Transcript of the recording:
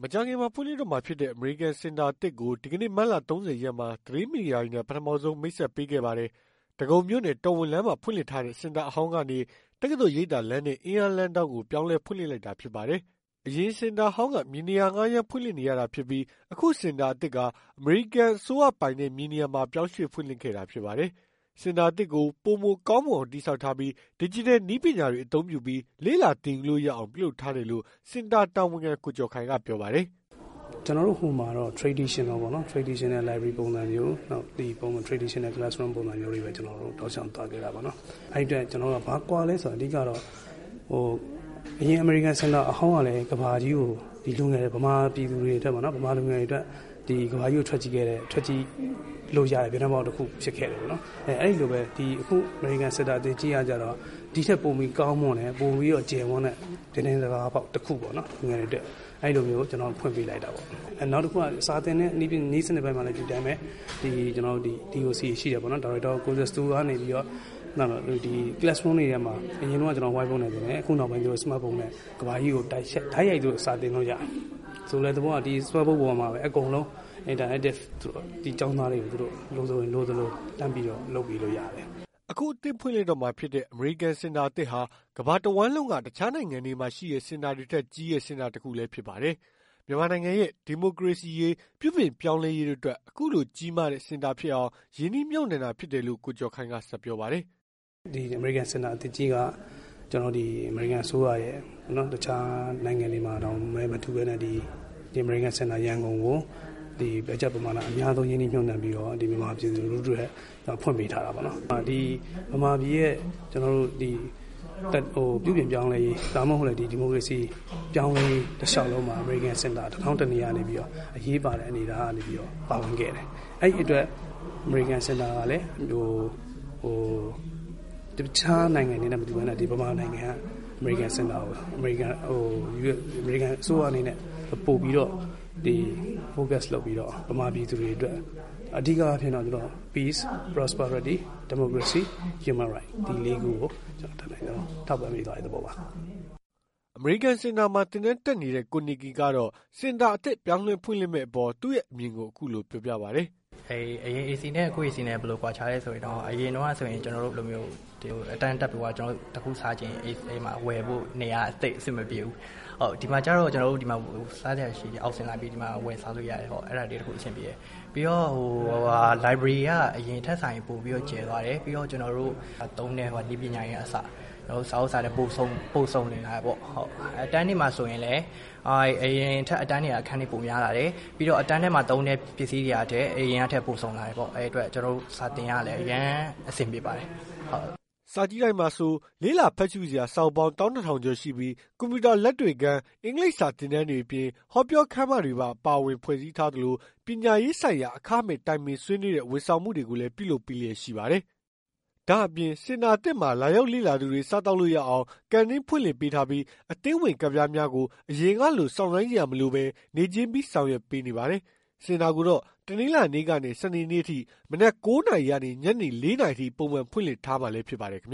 ။ မကြာခင်မှာဖွင့်လှစ်တော့မှာဖြစ်တဲ့ အမေရိကန်စင်တာအသစ်ကို ဒီကနေ့ မတ်လ ၃၀ ရက်မှာ သတင်းမီဒီယာ တွေနဲ့ ပထမဆုံး မိတ်ဆက်ပေးခဲ့ပါတယ်။ ဒဂုံမြို့နယ် တော်ဝင်လမ်းမှာ ဖွင့်လှစ်ထားတဲ့ စင်တာအဟောင်းကနေ တက္ကသိုလ် ရိပ်သာလမ်းနဲ့ အင်းလျားလမ်းထောင့်ကို ပြောင်းလဲဖွင့်လှစ်လိုက်တာဖြစ်ပါတယ်။ အရင်စင်တာအဟောင်းက မြေနေရာငှားရမ်းဖွင့်လှစ်နေရတာဖြစ်ပြီး အခုစင်တာအသစ်ဟာ အမေရိကန် အစိုးရပိုင်တဲ့မြေနေရာမှာပြောင်းရွှေ့ဖွင့်လှစ်ခဲ့တာဖြစ်ပါတယ်။ စင်တာအသစ်ကိုပိုမိုကောင်းမွန်အောင်တည် ဆောက်ထားပြီး ဒစ်ဂျစ်တယ်နည်းပညာတွေအသုံးပြုပြီး လေ့လာ သင်ယူလို့ရ အောင် ပြုလုပ်ထားတယ်လို့ စင်တာတာဝန်ခံ ကိုကျော်ခိုင်ကပြောပါတယ်။ "ဟိုမှာကတော့ Traditional ပေါ့နော် Traditional library ပုံစံမျိုး Traditional class room ပုံစံမျိုးနဲ့ ကျနော်တို့ သွားခဲ့တာပေါ့နော်။ အဲဒီအတွက် ဘာကွာသလဲဆိုတော့ အဓိကတော့ အရင်အမေရိကန်စင်တာအဟောင်းတုန်းကလည်း မြန်မာပြည်လူငယ်တွေအတွက် ကမ္ဘာကြီးကို ထွက်ကြည့်လို့ရတဲ့ ပြတင်းပေါက်တခုဖြစ်ခဲ့တယ်ပေါ့နော်။ အဲဒီလိုပဲ အခုအမေရိကန်စင်တာအသစ်ကြီးကတော့ ဒီထက်ပိုပြီးကောင်းမွန်တယ်၊ ဒီထက်ပိုပြီးကျယ်ဝန်းတဲ့ ပြတင်းပေါက်တခုပေါ့နော် လူငယ်တွေအတွက် အဲလိုမျိုး ဖွင့်ပေးလိုက်တာပေါ့နော်။ နောက်တခုက စာသင်တဲ့ နည်းစနစ်ပိုင်းမှာလည်း ဒီအတိုင်းပဲ အရင်တုန်းက ကျနော်တို့ white board နဲ့ သင်တယ်၊ အခုက ကမ္ဘာကြီးကို တိုက်ရိုက်စာသင်လို့ရတယ်။ဆိုလိုတဲ့သဘောက ဒီ စမတ်ဘုတ်ပေါ်မှာပဲ interactive ကျောင်းသားတွေကိုလိုသလို လုပ်ပေးလို့ရတယ်။" အခုအသစ်ဖွင့်လှစ်တော့မှာဖြစ်တဲ့ အမေရိကန်စင်တာအသစ်ဟာ ကမ္ဘာတဝှမ်းလုံးက တခြားနိုင်ငံတွေမှာ ရှိတဲ့ စင်တာတွေထက်ကြီးတဲ့ စင်တာတခုလည်းဖြစ်ပါတယ်။ မြန်မာနိုင်ငံရဲ့ ဒီမိုကရေစီရေး ပြုပြင်ပြောင်းလဲရေး တို့ အတွက် အခုလို ကြီးမားတဲ့ စင်တာဖြစ်အောင် ရင်းနှီးမြှုပ်နှံတာဖြစ်တယ်လို့ ကိုကျော်ခိုင်က ဆက်ပြောပါတယ်။ " အမေရိကန်စင်တာအသစ်ကြီးက အမေရိကန်အစိုးရအနေနဲ့ တခြားနိုင်ငံတွေမှာတောင်မတူပဲ မြန်မာနိုင်ငံကို ဘားဂျတ်အများဆုံးရင်းနှီးပြီးတော့ မြန်မာပြည်သူလူထုအတွက် ဖွင့်ပေးထားတာပေါ့နော်။ ဒီမြန်မာပြည်ရဲ့ ပြုပြင်ပြောင်းလဲရေး ဒီမိုကရေစီ ပြောင်းလဲရေးတလျှောက်လုံးမှာ အမေရိကန်စင်တာ တထောင့်တနေရာကနေပြီးတော့ အရေးပါတဲ့အနေအထားနဲ့ ပါဝင်ခဲ့တယ်။ အဲဒီအတွက် အမေရိကန်စင်တာကလည်း တခြားနိုင်ငံတွေနဲ့ မတူပဲ အမေရိကန်အစိုးရအနေနဲ့ ပိုပြီးတော့ focus လုပ်ပြီး peace prosperity and Democracy, Human Rights ဒီလေးခုကို အတတ်နိုင်ဆုံးထောက်ပံ့တဲ့ သဘောပါ။" အမေရိကန်စင်တာမှာ သင်တန်းတက်နေတဲ့ ကို Nicky ကတော့ စင်တာအသစ်ပြောင်းလဲဖွင့်လှစ်မယ့်အပေါ် သူ့ရဲ့အမြင်ကို အခုလိုပဲပြောပြပါတယ်။ "အရင် AC နဲ့ အခု AC က ဘာကွာသလဲဆိုတော့ အရင်တုန်းက အတန်း တက်ရင် ကျနော်တို့ တခုခုစားချင်ရင် ဝယ်ဖို့ နေရာမရှိဘူး။ ဒီမှာတော့ ကျနော်တို့ စားချင်ရင် အောက်ဆင်းပြီး ဝယ်စားလို့ရတယ် အဲဒါလေးအဆင်ပြေတယ်။ ပြီးတော့ library က အရင်ထက်စာရင် ပိုပြီးတော့ ကျယ်သွားတယ် ပြီးတော့ ကျနော်တို့ သုံးတဲ့ နည်းပညာတွေကအစ စာရွက်စာတန်း ပုံစုံလာတယ်ပေါ့ အတန်းတွေမှာဆိုရင်လည်း အရင်ထက် အတန်းတွေက ပိုများလာတယ်။ ပြီးတော့ အတန်းထဲက ပစ္စည်းတွေလည်း အရင်ကထက်ပိုစုံလာတယ်ပေါ့။ အဲဒီအတွက် ကျနော်တို့ စာသင်ရတာ အရမ်းအဆင်ပြေပါတယ်။" စာကြည့်တိုက်မှာဆို လေ့လာဖတ်ရှုစရာ စာအုပ်ပေါင်း ၁၂၀၀၀ ကျော်ရှိပြီး ကွန်ပျူတာလက်တွေ့ခန်း အင်္ဂလိပ်စာသင်တန်းတွေအပြင် ဟောပြောခန်းမတွေပါဝင် ဖွဲ့စည်းတည်ဆောက်ထားသလို ပညာရေးဆိုင် ရာ အခမဲ့ တိုင်ပင်ဆွေးနွေးတဲ့ ဝန်ဆောင်မှုတွေကိုလည်း ပြုလုပ်ပေးလျက်ရှိပါတယ်။ ဒါ့အပြင်စင်တာအသစ်မှာ လာရောက်လေ့လာသူတွေ စားသောက်လို့ရအောင် ကန်တင်းဖွင့်လှစ်ပေးထားပြီး အသင်းဝင်ကဒ်ပြားများကို အရင်ကလိုစောင့်ဆိုင်းစရာမလိုဘဲ နေ့ချင်းပြီး ဆောင်ရွက်ပေးနေပါတယ်။ စင်တာကိုတော့ တနင်္လာနေ့ကနေ စနေနေ့အထိ မနက် ၉ နာရီကနေ ညနေ ၄ နာရီအထိ ပုံမှန်ဖွင့်လှစ်ထား မှာလည်းဖြစ်ပါတယ်။